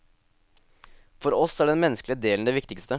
For oss er den menneskelige delen det viktigste.